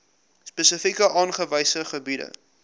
spesifiek aangewese gebiede